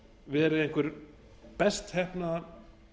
verið einhver best heppnaða